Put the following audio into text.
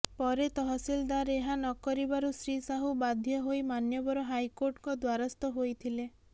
ପରେ ତହସିଲଦାର ଏହା ନକରିବାରୁ ଶ୍ରୀ ସାହୁ ବାଧ୍ୟହୋଇ ମାନ୍ୟବର ହାଇକୋର୍ଟଙ୍କ ଦ୍ୱାରସ୍ଥ ହୋଇଥିଲେ